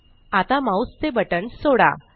आता माउस चे बटण सोडा